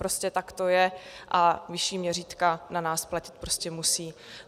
Prostě tak to je a vyšší měřítka na nás platit prostě musí.